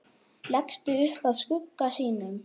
Leggst upp að skugga sínum.